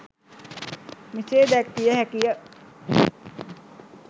මෙසේ දැක්විය හැකිය.